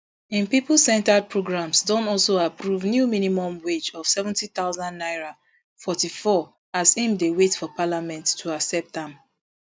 im pipocentred programmes don also approve new minimum wage of seventy thousand naira forty-four as im dey wait for parliament to accept am